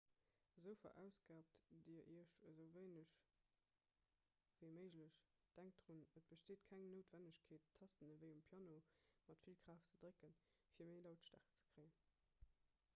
esou verausgaabt dir iech esou wéineg ewéi méiglech denkt drun et besteet keng noutwennegkeet d'tasten ewéi um piano mat vill kraaft ze drécken fir méi lautstäerkt ze kréien